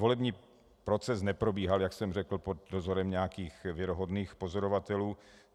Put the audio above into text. Volební proces neprobíhal, jak jsem řekl, pod dozorem nějakých věrohodných pozorovatelů.